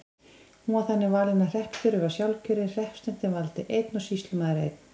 Hún var þannig valin að hreppstjóri var sjálfkjörinn, hreppsnefndin valdi einn og sýslumaður einn.